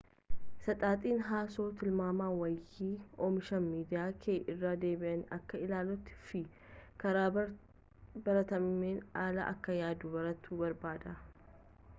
saxaxin haasoo tilmaami waayee oomisha miidiyaa kee irra deebiin akka ilaaltuu fi karaa baratameen ala akka yaaduu bartu barbaada